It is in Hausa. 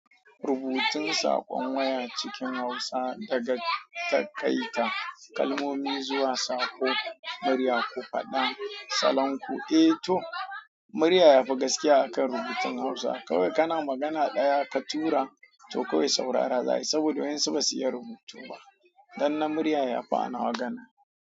Rubutun saƙon waya cikin Hausa daga taƙaita kalmomi zuwa saƙo, murya ko faɗan salanku. Eh to, murya yafi gaskiya akan rubutun Hausa. Kawai kana magana ɗaya ka tura, to kawai saurara za a yi saboda wasu ba su iya rubutu ba, danna murya yafi a nawa ganin.